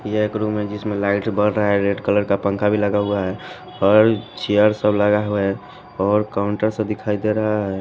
ये एक रूम है जिसमें लाइट बढ़ रहा है रेड कलर का पंखा भी लगा हुआ है और चेयर सब लगा हुआ हैऔर काउंटर सब दिखाई दे रहा है।